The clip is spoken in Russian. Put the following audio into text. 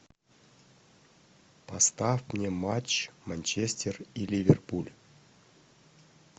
поставь мне матч манчестер и ливерпуль